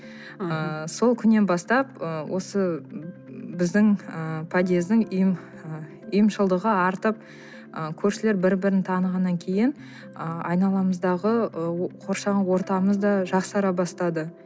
ыыы сол күннен бастап ы осы біздің ы подъездің ы ұйымшылдығы артып ы көршілер бір бірін танығаннан кейін ы айналамыздағы ы қоршаған ортамыз да жақсара бастады